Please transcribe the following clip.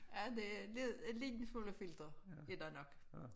Ja det lide en lille smule filter er der nok